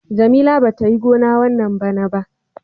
Jamila bata Yi gona wanna bana ba.